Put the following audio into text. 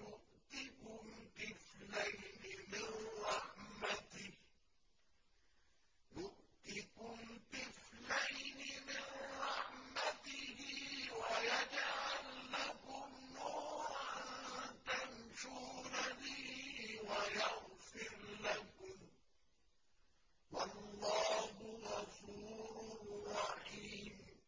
يُؤْتِكُمْ كِفْلَيْنِ مِن رَّحْمَتِهِ وَيَجْعَل لَّكُمْ نُورًا تَمْشُونَ بِهِ وَيَغْفِرْ لَكُمْ ۚ وَاللَّهُ غَفُورٌ رَّحِيمٌ